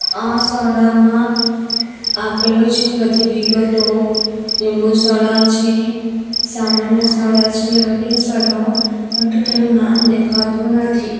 આ સોડા માં આપેલુ છે બધી વિગતો લીંબુ સોડા છે સામાન્ય સોડા છે વગેરે સોડા ઓ પરંતુ તેનુ નામ દેખાતું નથી.